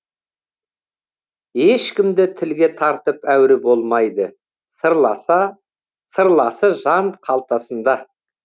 ешкімді тілге тартып әуре болмайды сырласы жан қалтасында